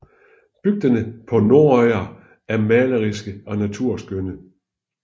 Bygderne på Norðoyar er maleriske og naturskønne